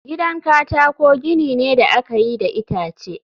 gidan katako gini ne da aka yi da itace